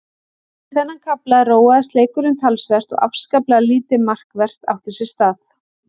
Eftir þennan kafla róaðist leikurinn talsvert og afskaplega lítið markvert átti sér stað.